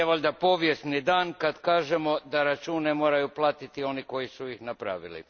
Jer nije valjda povijesni dan, kad kažemo da račune moraju platiti oni koji su ih napravili.